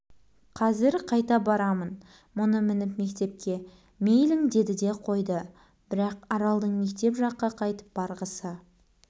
қазір қайта барамын мұны мініп мектепке мейлің деді де қойды бірақ аралдың мектеп жаққа қайтып барғысы